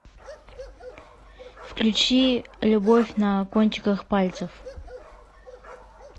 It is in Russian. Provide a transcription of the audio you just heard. включи любовь на кончиках пальцев